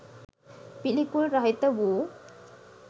පිළිකුල් රහිත වූ